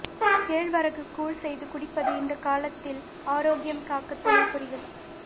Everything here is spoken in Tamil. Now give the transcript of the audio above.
கேழ்வரகு கூழ் செய்து குடிப்பது இந்த காலத்தில் ஆரோக்கியம் காக்க துணை புரியும்